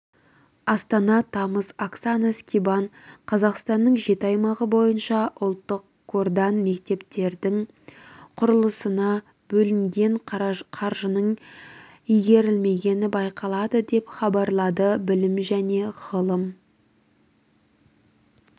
астана тамыз оксана скибан қазақстанның жеті аймағы бойынша ұлттық қордан мектептердің құрылысына бөлінген қаржының игерілмегені байқалады деп хабарлады білім және ғылым